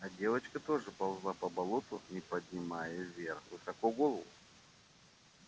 а девочка тоже ползла по болоту не поднимая вверх высоко голову